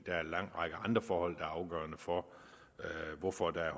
der er en lang række andre forhold er afgørende for hvorfor der er